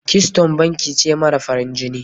Keystone banki ce mara farin jini.